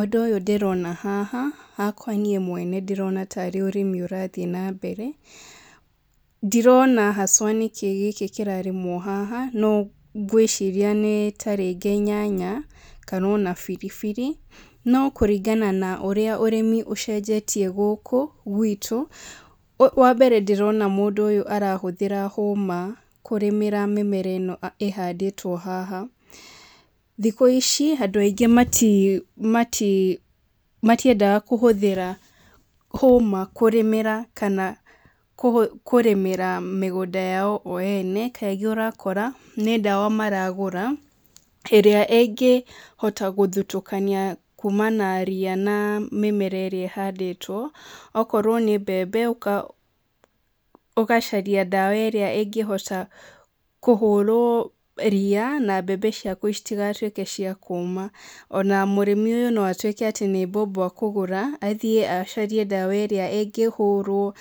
Ũndũ ũyũ ndĩrona haha, hakwa niĩ mwene ndĩrona tarĩ ũrĩmi ũrathiĩ na mbere. Ndirona haswa nĩ kĩĩ gĩkĩ kĩrarĩmwo haha, no ngwĩcria nĩ tarĩngĩ nyanya, kana ona biribiri. No kũringana na ũrĩa ũrĩmi ũcenjetie gũkũ, gwitũ, wa mbere ndĩrona mũndũ ũyũ arahũthĩra hũma kũrĩmĩra mĩmera ĩno ĩhandĩtwo haha. Thikũ ici, andũ aingĩ matiendaga kũhũthĩra hũma kũrĩmĩra kana kũrĩmĩra mĩgũnda yao o ene. Kaingĩ ũrakora, nĩ ndawa maragũra, ĩrĩa ĩngĩhota gũthutũkania kumana ria na mĩmera ĩrĩa ĩhandĩtwo. Okorwo nĩ mbembe, ũgacaria ndawa ĩrĩa ĩngĩhota kũhũrwo ria, na mbembe ciaku citigatuĩke cia kũũma. Ona mũrĩmi ũyũ no atuĩke atĩ nĩ mbombo akũgũra, athiĩ acarie ndawa ĩrĩa ĩngĩhũrwo